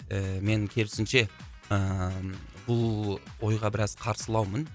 ііі мен керісінше ыыы бұл ойға біраз қарсылаумын